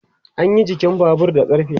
anyi jikin Babur da ƙarfe